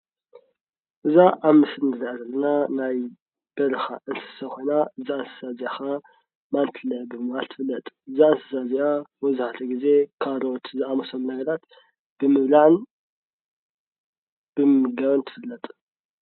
እዛ ኣብ ምስሊ ንሪኣ ዘለና ናይ በረኻ እንስሳ ኮይና እዛ እንስሳ እዚኣ ከዓ ማንቲለ ብምባል ትፍለጥ ። እዛ እንስሳ እዚኣ መብዛሕቲኡ ግዜ ካሮት ዝኣመሰሉ ነገራት ብምብላዕን ብምምጋብን ትፍለጥ።